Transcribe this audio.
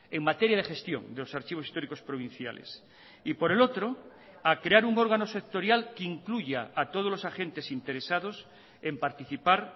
en materia de gestión de los archivos históricos provinciales y por el otro a crear un órgano sectorial que incluya a todos los agentes interesados en participar